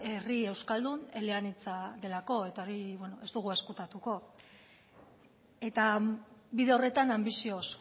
herri euskaldun eleanitza delako eta hori beno ez dugu ezkutatuko eta bide horretan anbizioz